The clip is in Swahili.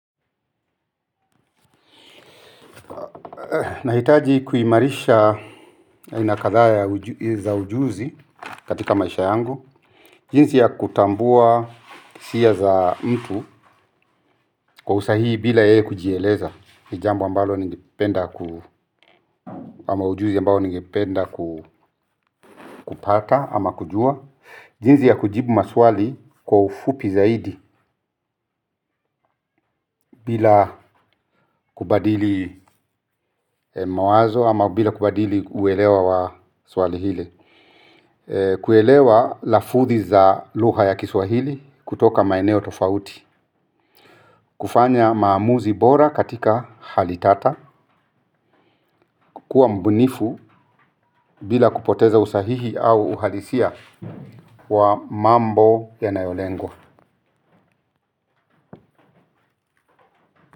Nahitaji kuhimarisha aina kadhaa za ujuzi katika maisha yangu. Jinsi ya kutambua hisia za mtu kwa usahihi bila yeye kujieleza ni jambo ambalo ningependa kupata ama kujua jinzi ya kujibu maswali kwa ufupi zaidi bila kubadili mawazo ama bila kubadili uwelewa wa swali hile. Kuelewa lafuthi za lugha ya kiswahili kutoka maeneo tofauti. Kufanya maamuzi bora katika hali tata. Kukuwa mbunifu bila kupoteza usahihi au uhalisia wa mambo yanayolengwa.